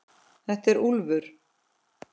Þetta er Úlfur.